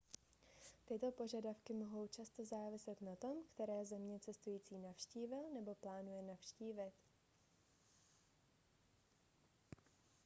tyto požadavky mohou často záviset na tom které země cestující navštívil nebo plánuje navštívit